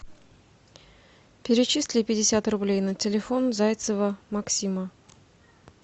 перечисли пятьдесят рублей на телефон зайцева максима